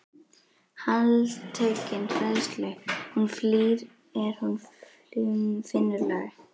Heltekin hræðslu hún flýr er hún finnur lag.